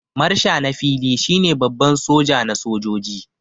Marsha na fili shi ne Baban soja na sojoji.